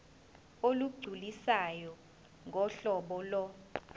olugculisayo ngohlobo lo